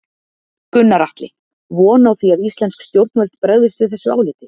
Gunnar Atli:. von á því að íslensk stjórnvöld bregðist við þessu áliti?